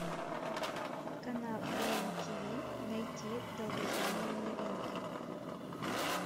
канал рен тв найти долгожданные новинки